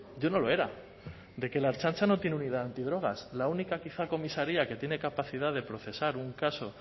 yo no lo era de que la ertzaintza no tiene unidad antidrogas la única quizá comisaría que tiene capacidad de procesar un caso